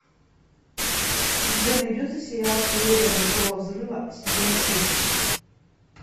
у тебя найдется сериал теория большого взрыва сезон шесть